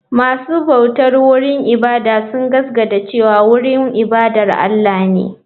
Masu bautar wurin ibada sun gaskata cewa wurin ibada Allah ne.